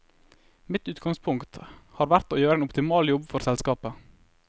Mitt utgangspunkt har vært å gjøre en optimal jobb for selskapet.